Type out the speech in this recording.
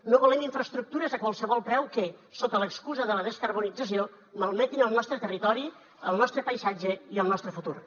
no volem infraestructures a qualsevol preu que sota l’excusa de la descarbonització malmetin el nostre territori el nostre paisatge i el nostre futur